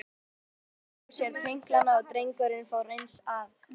Jóra lagði frá sér pinklana og drengurinn fór eins að.